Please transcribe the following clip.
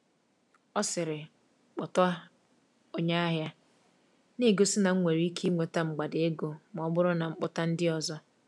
Ọ sịrị, “kpọta onye ahịa,” na-egosi na m nwere ike inweta mgbada ego ma ọ bụrụ na m kpọta ndị ọzọ.